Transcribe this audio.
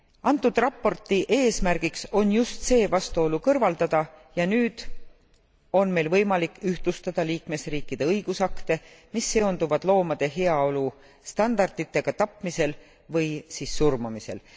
Antud raporti eesmärgiks on just see vastuolu kõrvaldada ja nüüd on meil võimalik ühtlustada liikmesriikide õigusakte, mis seonduvad loomade heaolu standarditega tapmisel või siis surmamisel.